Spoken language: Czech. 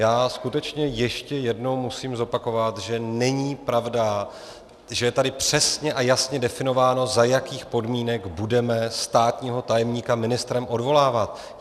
Já skutečně ještě jednou musím zopakovat, že není pravda, že je tady přesně a jasně definováno, za jakých podmínek budeme státního tajemníka ministrem odvolávat!